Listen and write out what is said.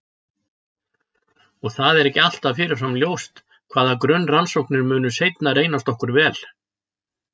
Og það er ekki alltaf fyrirfram ljóst hvaða grunnrannsóknir munu seinna reynast okkur vel.